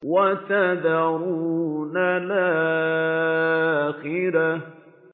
وَتَذَرُونَ الْآخِرَةَ